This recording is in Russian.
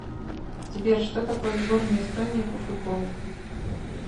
сбер что такое сборная эстонии по футболу